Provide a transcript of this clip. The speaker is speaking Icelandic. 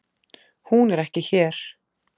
Hún er ekki hér.